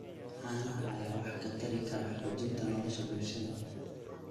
Caanaha ayaa wax ka tari kara xoojinta nolosha bulshada.